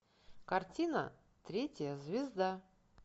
картина третья звезда